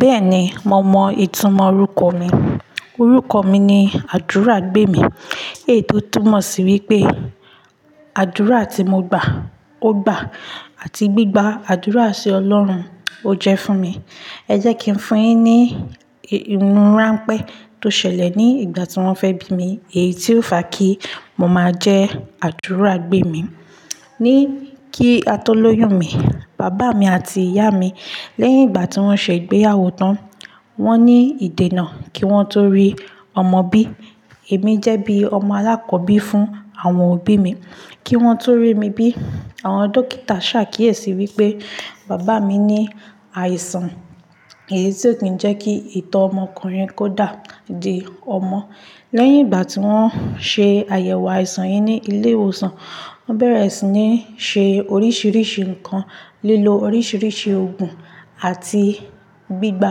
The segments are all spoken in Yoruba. Bẹ́ẹ̀ni, mo mọ ìtumọ̀ orúkọ mi. Orúkọ mi ni Ádùrágbèmí, lèyí tó túmọ̀ sí wípé àdúrà tí mo gbà, ó gbà àti gbígba àdúrà sí Ọlọ́run, ó jẹ́ fún mi. Ẹ jẹ́ kí n fún un yín ní ohun ránpẹ́ tó ṣẹlẹ̀ ní ìgbà tí wọ́n fẹ́ bí mi, èyí tí ó fa kí mo máa jẹ́ Ádùrágbèmí. Ni kí a tó lóyún mi, bàbá mi àti ìyá mi, lẹ́yìn ìgbà tí wọ́n ṣe ìgbéyàwó tán, wọ́n ní ìdènà kí wọ́n tó rí ọmọ bí. Èmi jẹ́ bí ọmọ alákọ́bí fún àwọn òbí mi. Kí wọ́n tó rí mi bí, àwọn dókítà ṣàkíyèsí wípé bàbá mi ní àìsàn èyí tí ó ti ń jẹ́ kí ìtọ́ ọmọkùnrin kó dà di ọmọ. Lẹ́yìn ìgbà tí wọ́n ṣe àyẹ̀wò àìsàn yìí ní ilé ìwòsàn, wọ́n bẹ̀rẹ̀ sí ní ṣe oríṣiríṣi nǹkan, lílo oríṣiríṣi òògùn àti gbígba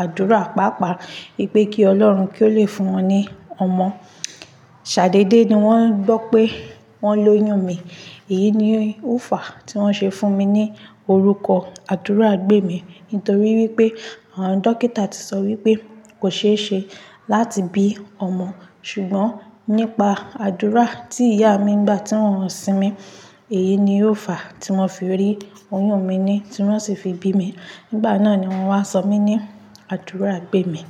àdúrà pàápàá wípé kí Ọlọ́run kí ó le fún wọn ní ọmọ. Śàdé dé ni wọ́n gbọ́ pé wọ́n lóyún mi, èyí ni ó fa tí wọ́n ṣe fún mi ní orúkọ Ádùrágbèmí nítorí wípé àwọn dókítà ti sọ wípé kò ṣe é ṣe láti bí ọmọ. Ṣùgbọ́n nípa àdúrà tí ìyá mi gbà tí wọ́n ti won sí mi, èyí ni ó fa tí wọ́n fi rí oyún mi ni tí wọ́n sì fi bí mi. Nígbà náà ni wọ́n wá sọ mí ní Ádùrágbèmí.